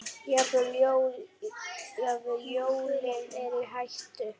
Jafnvel jólin eru í hættu.